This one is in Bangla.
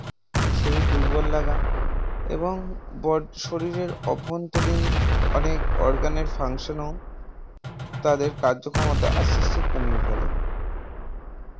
শরীর দুর্বল লাগা এবং বড শরীরের অভ্যন্তরীন খানিক organ এর functions ও তাদের কার্যক্ষমতা আস্তে আস্তে কমিয়ে ফেলে